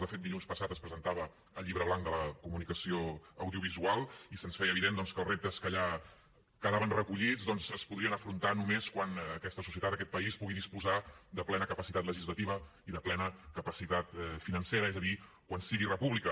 de fet dilluns passat es presentava el llibre blanc de la comunicació audiovisual i se’ns feia evident doncs que els reptes que allà quedaven recollits es podrien afrontar només quan aquesta societat aquest país pugui disposar de plena capacitat legislativa i de plena capacitat financera és a dir quan sigui república